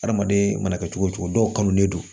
Adamaden mana kɛ cogo cogo dɔw kan ne don